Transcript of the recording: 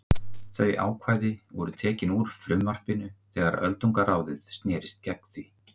Þau ákvæði voru tekin úr frumvarpinu þegar öldungaráðið snerist gegn því.